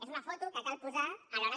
és una foto que cal posar a l’hora